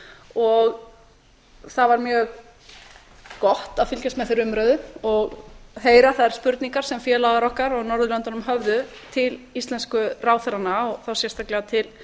og það var mjög gott að fylgjast með þeirri umræðu og heyra þær spurningar sem félagar okkar á norðurlöndunum höfðu til íslensku ráðherranna og þá sérstaklega til